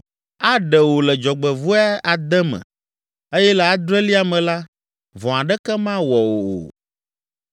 Aɖe wò le dzɔgbevɔ̃e ade me eye le adrelia me la, vɔ̃ aɖeke mawɔ wò o.